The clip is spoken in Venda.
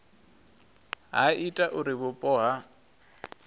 ha ita uri vhupo ha